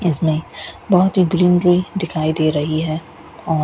इसमें बहुत ही ग्रीनरी दिखाई दे रही है और--